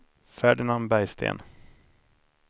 Ferdinand Bergsten